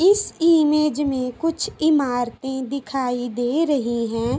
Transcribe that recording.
इस इमेज में कुछ इमारतें दिखाई दे रही हैं।